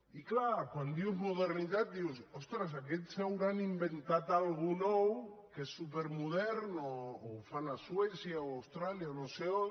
i clar quan dius modernitat dius ostres aquests es deuen haver inventat alguna cosa nova que és supermoderna que ho fan a suècia o a austràlia o a no sé on